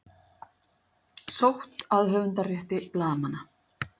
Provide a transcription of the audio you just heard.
Sótt að höfundarétti blaðamanna